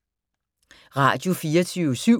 Radio24syv